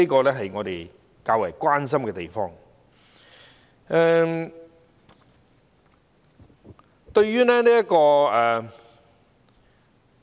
這是我們較為關心之處。